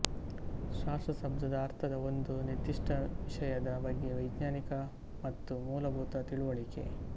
ಶಾಸ್ತ್ರ ಶಬ್ದದ ಅರ್ಥದ ಒಂದು ನಿರ್ದಿಷ್ಟ ವಿಷಯದ ಬಗ್ಗೆ ವೈಜ್ಞಾನಿಕ ಮತ್ತು ಮೂಲಭೂತ ತಿಳಿವಳಿಕೆ